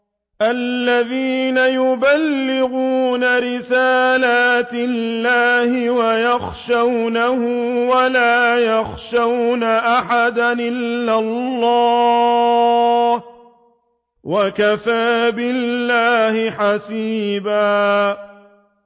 الَّذِينَ يُبَلِّغُونَ رِسَالَاتِ اللَّهِ وَيَخْشَوْنَهُ وَلَا يَخْشَوْنَ أَحَدًا إِلَّا اللَّهَ ۗ وَكَفَىٰ بِاللَّهِ حَسِيبًا